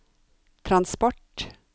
transport